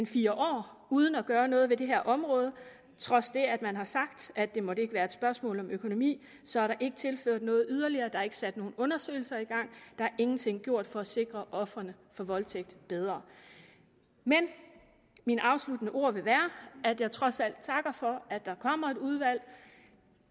fire år uden at gøre noget ved det her område trods det at man har sagt at det ikke måtte være et spørgsmål om økonomi så er der ikke tilført noget yderligere der er ikke sat nogen undersøgelser i gang der er ingenting gjort for at sikre ofrene for voldtægt bedre men mine afsluttende ord vil være at jeg trods alt takker for at der kommer et udvalg